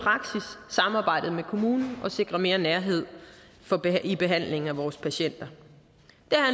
samarbejdet med kommunen og som sikrer mere nærhed i behandlingen af vores patienter